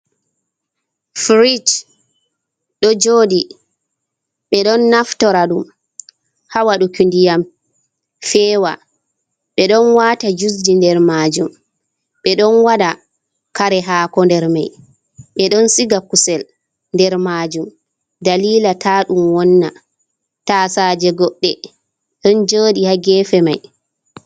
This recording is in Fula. Firij ɗo jooɗi, ɓe ɗon naftora ɗum ha waɗuki ndiyam feewa, ɓe ɗon waata jus-ji nder maajum, ɓe ɗon waɗa kare haako nder mai, ɓe ɗon siga kusel nder maajum, daliila taa ɗum wonna. Taasaaje goɗɗe ɗon jooɗi ha geefe mai.